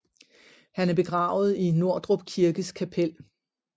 Han er begravet i Nordrup Kirkes kapel